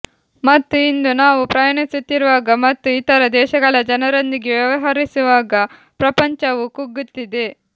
ಮತ್ತು ಇಂದು ನಾವು ಪ್ರಯಾಣಿಸುತ್ತಿರುವಾಗ ಮತ್ತು ಇತರ ದೇಶಗಳ ಜನರೊಂದಿಗೆ ವ್ಯವಹರಿಸುವಾಗ ಪ್ರಪಂಚವು ಕುಗ್ಗುತ್ತಿದೆ